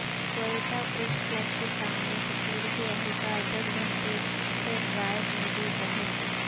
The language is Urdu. کوئٹہ پریس کلب کے سامنے سکیورٹی اہلکار دس گھنٹے سے زائد موجود رہے